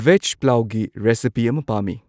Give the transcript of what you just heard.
vase ꯄ꯭ꯂꯥꯎꯒꯤ recipe ꯑꯃ ꯄꯥꯝꯃꯤ